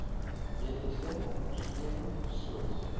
mediese ondersteuning soos